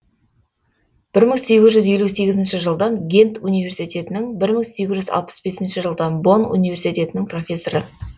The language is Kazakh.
бір мың сегіз жүз елу сегізінші жылдан гент университетінің бір мың сегіз жүз алпыс бесінші жылдан бонн университетінің профессоры